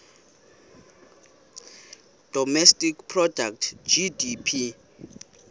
domestic product gdp